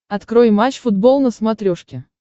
открой матч футбол на смотрешке